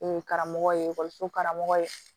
karamɔgɔ ye ekɔliso karamɔgɔ ye